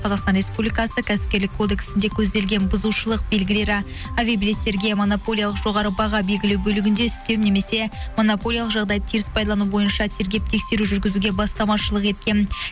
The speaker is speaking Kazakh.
қазақстан республикасы кәсіпкерлік кодексінде көзделген бұзушылық белгілері авиабилеттерге монополиялық жоғары баға белгілеу бөлігінде үстем немесе монополиялық жағдайды теріс пайдалану бойынша тергеп тексеру жүргізуге бастамашылық еткен